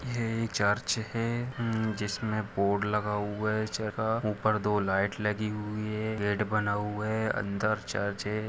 ये चर्च है जिसमे बोर्ड लगा हुआ है इस जगाह ऊपर दो लाईट लगी हुई है गेट बना हुआ है अंदर चर्च है।